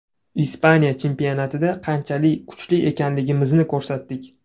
Ispaniya chempionatida qanchalik kuchli ekanimizni ko‘rsatdik.